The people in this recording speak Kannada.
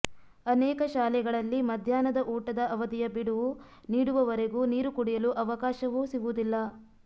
ಅನೇಕ ಶಾಲೆಗಳಲ್ಲಿ ಮಧ್ಯಾಹ್ನದ ಊಟದ ಅವಧಿಯ ಬಿಡುವು ನೀಡುವವರೆಗೂ ನೀರು ಕುಡಿಯಲು ಅವಕಾಶವೂ ಸಿಗುವುದಿಲ್ಲ